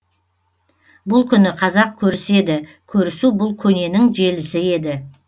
бұл күні қазақ көріседі көрісу бұл көненің желісі еді